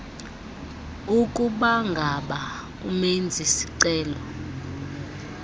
ukubangaba umenzi sicelo